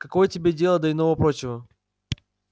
какое тебе дело до иного-прочего